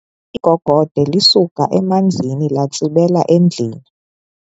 Igogode lisuke emanzini latsibela endlwini.